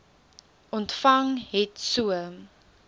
ontvang het so